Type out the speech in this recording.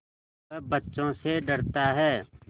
वह बच्चों से डरता है